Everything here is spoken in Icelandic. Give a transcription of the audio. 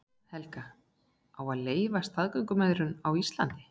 Helga: Á að leyfa staðgöngumæðrun á Íslandi?